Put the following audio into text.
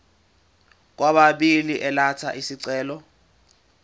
kwababili elatha isicelo